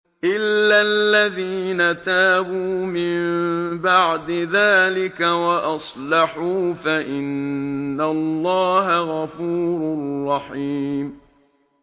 إِلَّا الَّذِينَ تَابُوا مِن بَعْدِ ذَٰلِكَ وَأَصْلَحُوا فَإِنَّ اللَّهَ غَفُورٌ رَّحِيمٌ